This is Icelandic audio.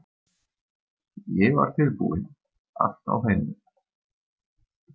Ég var tilbúinn- allt á hreinu